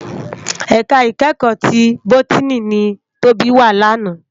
Èká ikèékò ti bótìní ni Tobi wá làná